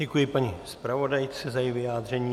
Děkuji paní zpravodajce za její vyjádření.